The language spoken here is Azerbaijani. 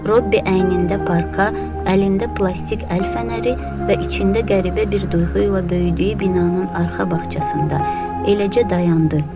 Robbi əynində parka, əlində plastik əl fənəri və içində qəribə bir duyğu ilə böyüdüyü binanın arxa bağçasında eləcə dayandı.